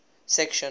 section